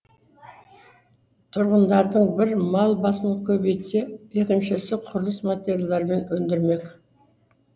тұрғындардың бір мал басын көбейтсе екіншісі құрылыс материалдармен өндірмек